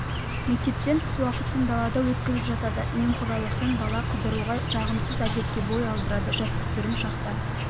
мектептен тыс уақытын далада өткізіп жатады немқұрайлылықтан бала қыдыруға жағымсыз әдетке бой алдырады жасөспірім шақта